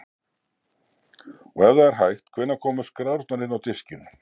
Og ef það er hægt, hvenær komu skrárnar inn á diskinn?